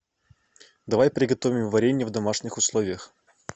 давай приготовим варенье в домашних условиях